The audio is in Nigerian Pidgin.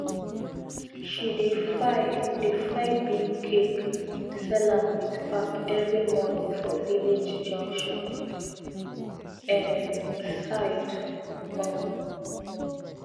she dey fry dey fry bean cake sell am with pap every morning for village junction um side um